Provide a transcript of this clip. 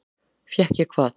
Fékk ég hvað?